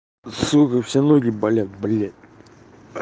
сука все ноги болят блядь